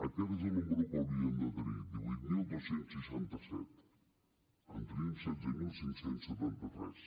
aquest és el número que n’haurien de tenir divuit mil dos cents i seixanta set en tenim setze mil cinc cents i setanta tres